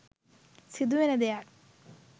සිදුවන දෙයක්.